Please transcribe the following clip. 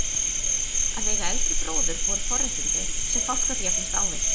Að eiga eldri bróður voru forréttindi, sem fátt gat jafnast á við.